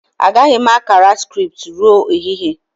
Agaghị m akara scripts ruo ehihie